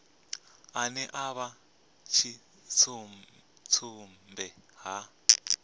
ane a vha tshidzumbe a